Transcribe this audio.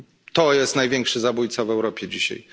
To jest największy zabójca w Europie dzisiaj.